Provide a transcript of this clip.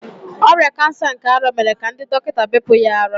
Ọrịa kansa nke ara mere ka ndị dọkịta bepụ ya ara.